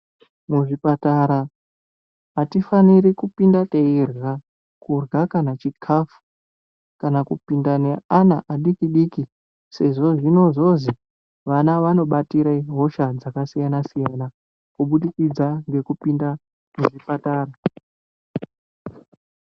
Muzvipatara atifaniri kupinda teirya kurya kana chikafu kana kupinda neana adiki diki sezvo zvinozozi ana anobatira hosha dzakasiyana siyana kubudikidza nekupinda muchipatara.